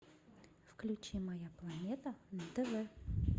включи моя планета на тв